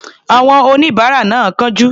Àwọn oníbàárà náà ń kánjú.